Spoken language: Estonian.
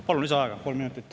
Palun lisaaega kolm minutit.